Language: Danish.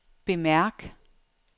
bemærk